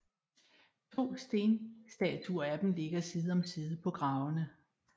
To stenstatuer af dem ligger side om side på gravene